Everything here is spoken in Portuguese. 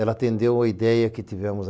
Ela atendeu a ideia que tivemos.